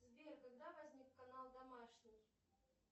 сбер когда возник канал домашний